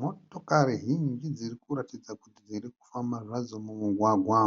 Motokari zhinji dziri kuratidza kuti dziri kufamba zvadzo mumugwagwa.